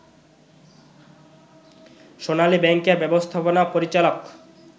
সোনালী ব্যাংকের ব্যবস্থাপনা পরিচালক